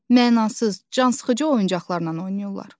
Mənasız, cansıxıcı oyuncaqlarla oynayırlar.